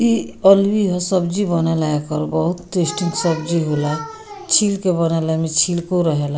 इ अलबी हअ सब्जी बनेला एकर बहुत टेस्टी सब्जी होला छील के बनेला एमे छिलको रहेला।